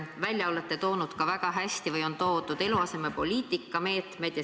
Välja on väga hästi toodud eluasemepoliitika meetmed.